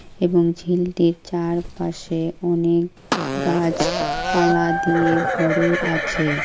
এবং ঝিলটির চার পাশে অনেক গাছপালা দিয়ে ভরে আছে।